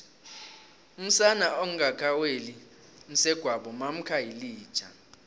umsana ongaka weli msegwabo mamkha yilija